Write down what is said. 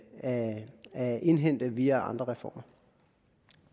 at indhente via andre reformer